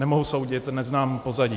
Nemohu soudit, neznám pozadí.